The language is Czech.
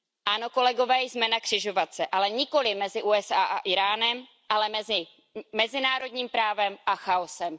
Ano, kolegové, jsme na křižovatce, ale nikoliv mezi USA a Íránem, ale mezi mezinárodním právem a chaosem.